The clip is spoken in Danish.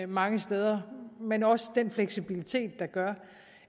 mange steder men også den fleksibilitet der gør